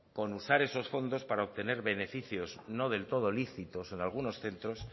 con usar esos fondos para obtener beneficios no del todo lícitos en algunos centros